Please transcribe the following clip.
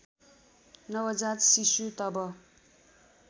नवजात शिशु तब